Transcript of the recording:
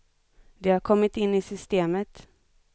De har kommit in i systemet.